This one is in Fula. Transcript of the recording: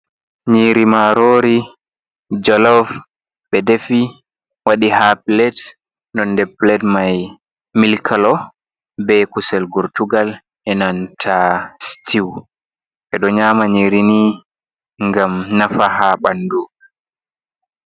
Nyiiri maarori jolof, ɓe defi, waɗi haa pilet nonnde pilet mai mil kalo, bee kusel gortugal e nanta sitiw ɓe ɗo nyaama nyiiri nii ngam nafa haa ɓandu.